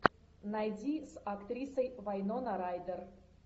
найди с актрисой вайнона райдер